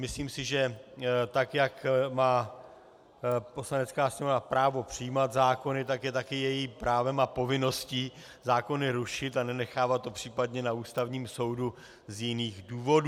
Myslím si, že tak jak má Poslanecká sněmovna právo přijímat zákony, tak je také jejím právem a povinností zákony rušit a nenechávat to případně na Ústavním soudu z jiných důvodů.